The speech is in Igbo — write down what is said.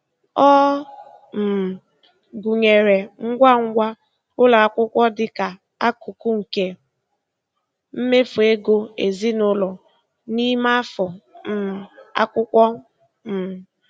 Ọ um gụnyere ngwa ngwa ụlọ akwụkwọ dịka akụkụ nke mmefu ego ezinụlọ n'ime afọ um akwụkwọ. um